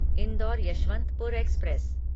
indoor Yeshwantpur express